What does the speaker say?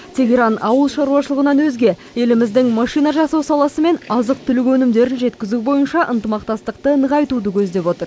тегеран ауыл шаруашылығынан өзге еліміздің машина жасау саласы мен азық түлік өнімдерін жеткізу бойынша ынтымақтастықты нығайтуды көздеп отыр